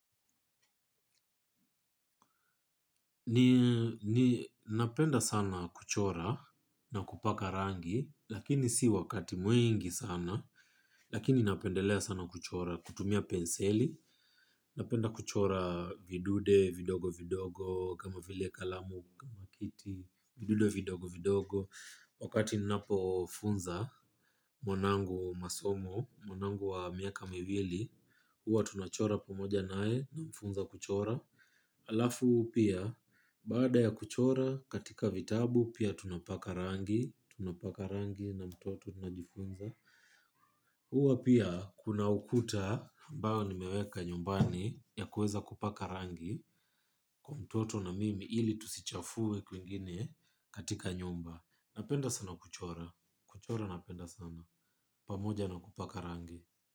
Ninapenda sana kuchora na kupaka rangi. Lakini si wakati mwingi sana. Lakini napendelea sana kuchora kutumia penseli. Napenda kuchora vidunde, vidogo vidogo. Kama vile kalamu, kama kiti. Vidude vidogo vidogo. Wakati ninapofunza mwanangu masomo mwanangu wa miaka mewili huwa tunachora pamoja naye namfunza kuchora. Alafu pia baada ya kuchora katika vitabu pia tunapaka rangi. Tunapaka rangi na mtoto tunajifunza. Huwa pia kuna ukuta ambayo nimeweka nyumbani ya kueza kupaka rangi. Kwa mtoto na mimi ili tusichafuwe kwingine katika nyumba. Napenda sana kuchora. Kuchora napenda sana. Pamoja na kupaka rangi.